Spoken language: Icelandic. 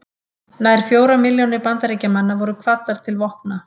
Nær fjórar milljónir Bandaríkjamanna voru kvaddar til vopna.